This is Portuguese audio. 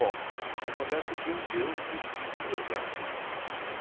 Bom, acontece que um dia eu tive que ir servir o exército.